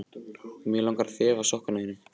Mig langar að þefa af sokkum þínum.